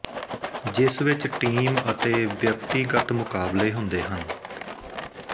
ਜਿਸ ਵਿੱਚ ਟੀਮ ਅਤੇ ਵਿਅਕਤੀਗਤ ਮੁਕਾਬਲੇ ਹੁੰਦੇ ਹਨ